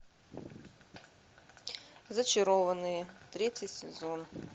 зачарованные третий сезон